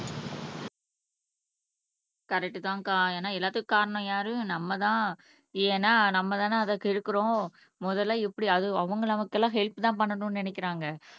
correct தான் அக்கா ஏன்னா எல்லாத்துக்கும் காரணம் யாரு நம்மதான் ஏன்னா நம்மதானே அதை கெடுக்கிறோம் முதல்ல எப்படி அது அவங்க நமக்கெல்லாம் ஹெல்ப் தான் பண்ணணும்னு நினைக்கிறாங்க